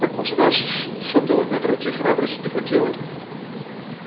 потому что дальше сотого метра войти храбрости не хватило